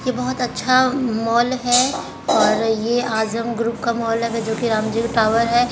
ये बहुत अच्छा म-मॉल हैं और ये आजम ग्रुप का मॉल हैं वेजो की रामजिल टावर है।